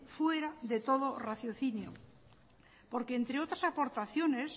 fuera de todo raciocinio porque entre otras aportaciones